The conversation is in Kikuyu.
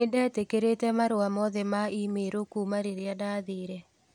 Nĩ ndetĩkĩrĩte marũa mothe ma i-mīrū kuuma rĩrĩa ndathiire.